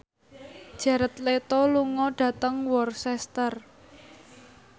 Jared Leto lunga dhateng Worcester